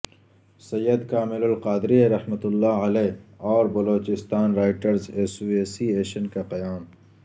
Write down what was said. سید کامل القادری رحمت اللہ علیہ اور بلوچستان رائٹرز ایسوسی ایشن کا قیام